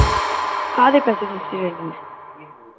ਕਾਹਦੇ ਪੈਸੇ ਦਿਤੇ